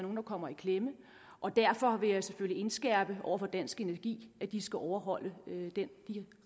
der kommer i klemme og derfor vil jeg selvfølgelig indskærpe over for dansk energi at de skal overholde de